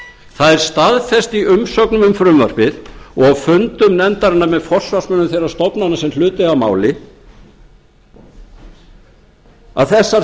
það er staðfest í umsögnum um frumvarpið og fundum nefndarinnar með forsvarsmönnum þeirra stofnana sem hlut eiga að máli að þessar